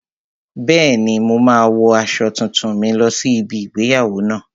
Bẹ́ẹ̀ni, mo máa wo aṣọ tuntun mi lọ sí ibi igbéyàwó náà